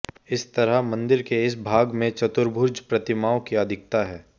इस तरह मंदिर के इस भाग में चतुर्भुज प्रतिमाओं की अधिकता है